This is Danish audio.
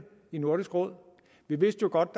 i nordisk råd vi vidste jo godt